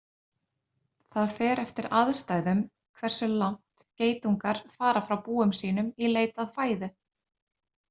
Það fer eftir aðstæðum hversu langt geitungar fara frá búum sínum í leit að fæðu.